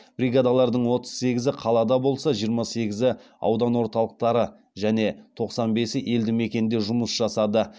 бригадалардың отыз сегізі қалада болса жиырма сегізі аудан орталықтары және тоқсан бесі елді мекенде жұмыс жасады